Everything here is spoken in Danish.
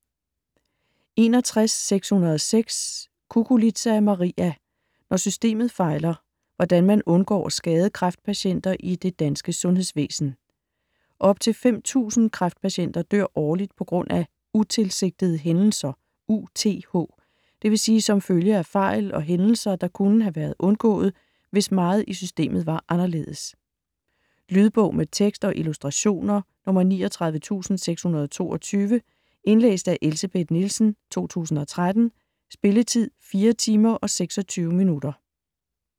61.606 Cuculiza, Maria: Når systemet fejler: hvordan man undgår at skade kræftpatienter i det danske sundhedsvæsen Op til 5.000 kræftpatienter dør årligt på grund af "utilsigtede hændelser", UTH, dvs. som følge af fejl og hændelser, der kunne have været undgået, hvis meget i systemet var anderledes. Lydbog med tekst og illustrationer 39622 Indlæst af Elsebeth Nielsen, 2013. Spilletid: 4 timer, 26 minutter.